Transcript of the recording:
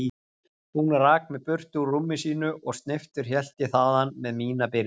Hún rak mig burtu úr rúmi sínu og sneyptur hélt ég þaðan með mína byrði.